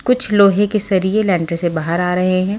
कुछ लोहे के सरिए लैंटर से बाहर आ रहे हैं।